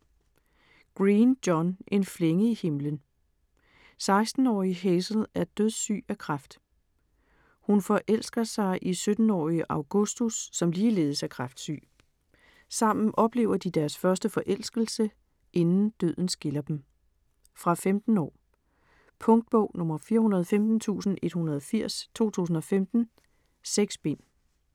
Green, John: En flænge i himlen 16-årige Hazel er dødssyg af kræft. Hun forelsker sig i 17-årige Augustus som ligeledes er kræftsyg. Sammen oplever de deres første forelskelse, inden døden skiller dem. Fra 15 år. Punktbog 415180 2015. 6 bind.